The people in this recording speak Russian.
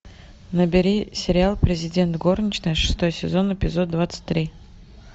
набери сериал президент горничная шестой сезон эпизод двадцать три